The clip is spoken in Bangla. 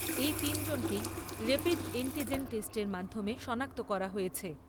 এই তিনজনকেই এন্টি রাপিড জেন টেষ্টের মাধ্যমে সনাক্ত করা হয়েছে।